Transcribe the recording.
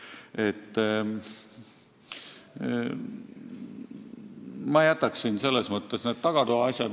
Selles mõttes ma jätaksin need tagatoa asjad sinnapaika.